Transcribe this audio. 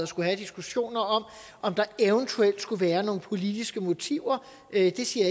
skulle have diskussioner om om der eventuelt skulle være nogle politiske motiver det siger